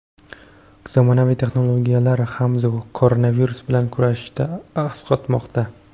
Zamonaviy texnologiyalar ham koronavirus bilan kurashishda asqatmoqda.